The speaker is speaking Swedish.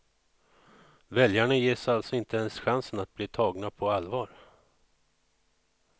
Väljarna ges alltså inte ens chansen att bli tagna på allvar.